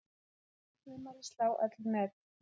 Mun sumarið slá öll met